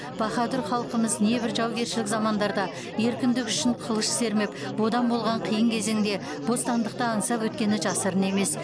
баһадүр халқымыз небір жаугершілік замандарда еркіндік үшін қылыш сермеп бодан болған қиын кезеңде бостандықты аңсап өткені жасырын емес